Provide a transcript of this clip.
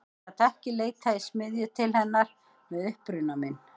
Ég gat ekki leitað í smiðju til hennar með uppruna minn.